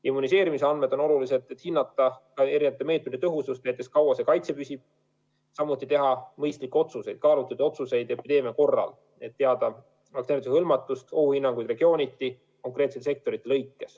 Immuniseerimisandmed on olulised, et hinnata eri meetmete tõhusust, näiteks, kui kaua see kaitse püsib, samuti teha mõistlikke otsuseid, kaalutletud otsuseid epideemia korral, et teada vaktsineerimisega hõlmatust ja anda ohuhinnanguid regiooniti konkreetsete sektorite lõikes.